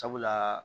Sabula